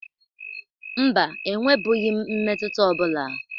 Mba, enwebughi m mmetụta ọbụla.